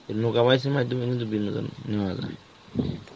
এই এর মাইধ্যমে কিন্তু বিনোদন নেওয়া যায়.